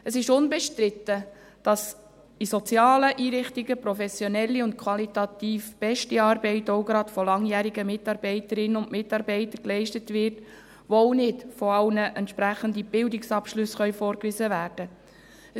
Es ist unbestritten, dass in sozialen Einrichtungen professionelle und qualitativ beste Arbeit, auch gerade von langjährigen Mitarbeiterinnen und Mitarbeitern, geleistet wird, obwohl nicht von allen entsprechende Bildungsabschlüsse vorgewiesen werden können.